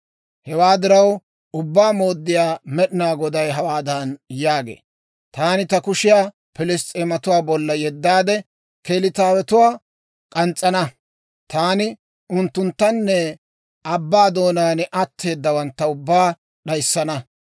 hewaa diraw Ubbaa Mooddiyaa Med'inaa Goday hawaadan yaagee; taani ta kushiyaa Piliss's'eematuwaa bolla yeddaade Keliitawetuwaa k'ans's'ana. Taani unttunttanne abbaa doonaan atteedawantta ubbaa d'ayissana.